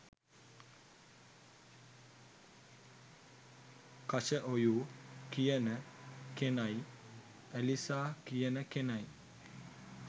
කශඔයු කියන කෙනයි ඇලිසා කියන කෙනයි